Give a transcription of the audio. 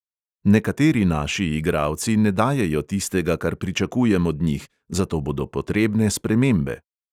Nekateri naši igralci ne dajejo tistega, kar pričakujem od njih, zato bodo potrebne spremembe.